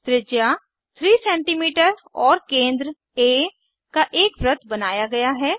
त्रिज्या 3सीएम और केंद्र आ का एक वृत्त बनाया गया है